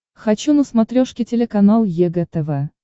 хочу на смотрешке телеканал егэ тв